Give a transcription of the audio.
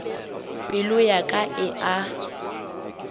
pelo ya ka e a